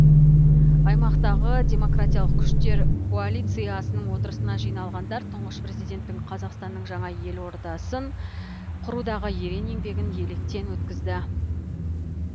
аймақтағы демократиялық күштер коалициясының отырысына жиналғандар тұңғыш президенттің қазақстанның жаңа елордасын құрудағы ерен еңбегін електен өткізді